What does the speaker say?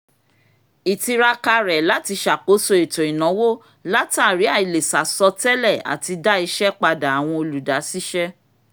ìtiraka rẹ̀ láti ṣàkóso ètò ìnáwó látàrí àìlèsàsọtẹ́lẹ̀ àti dá iṣẹ́ padà àwọn olùdáṣiṣe